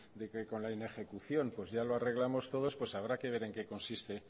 de que con la inejecución pues ya lo arreglamos todos pues habrá que ver en qué consiste